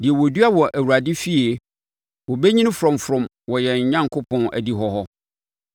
deɛ wɔadua wɔ Awurade fie, wɔbɛnyini frɔmfrɔm wɔ yɛn Onyankopɔn adihɔ hɔ.